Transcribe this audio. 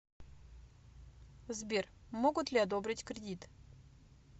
сбер могут ли одобрить кредит